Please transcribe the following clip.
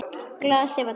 Glasið var tómt.